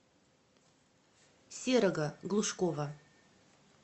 серого глушкова